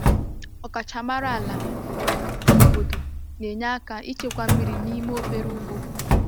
Ọkachamara ala obodo na-enye aka ịchekwa mmiri n’ime obere ugbo.